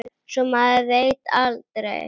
Svo maður veit aldrei.